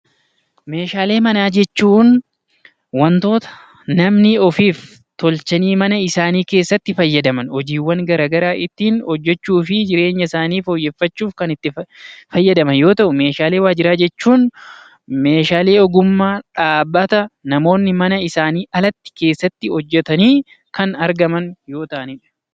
Meeshaalee manaa jechuun wantoota namni ofiif tolchanii mana isaanii keessatti fayyadaman hojiiwwan gara garaa ittiin hojjechuu fi jireenya isaanii fooyyeffachuuf kan itti fayyadaman yoo ta'u, meeshaalee waajjiraa jechuun meeshaalee ogummaa dhaabbata namoonni isaanii alatti, keessatti hojjetanii kan argaman yoo ta'anidha.